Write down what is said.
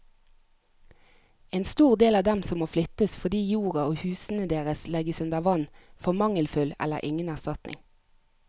En stor del av dem som må flyttes fordi jorda og husene deres legges under vann, får mangelfull eller ingen erstatning.